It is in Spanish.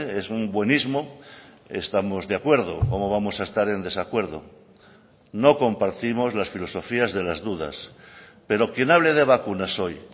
es un buenismo estamos de acuerdo cómo vamos a estar en desacuerdo no compartimos las filosofías de las dudas pero quien hable de vacunas hoy